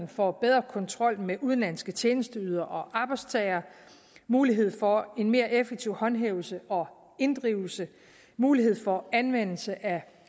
for bedre kontrol med udenlandske tjenesteydere og arbejdstagere mulighed for en mere effektiv håndhævelse og inddrivelse mulighed for anvendelse af